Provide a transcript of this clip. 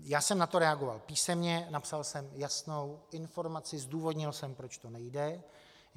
Já jsem na to reagoval písemně, napsal jsem jasnou informaci, zdůvodnil jsem, proč to nejde.